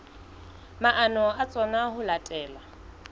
maano a tsona ho latela